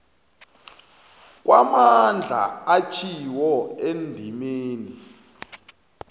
kwamandla atjhiwo endimeni